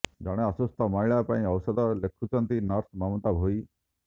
ଜଣେ ଅସୁସ୍ଥ ମହିଳା ପାଇଁ ଔଷଧ ଲେଖୁଛନ୍ତି ନର୍ସ ମମତା ଭୋଇ